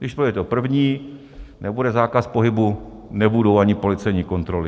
Když projde to první, nebude zákaz pohybu, nebudou ani policejní kontroly.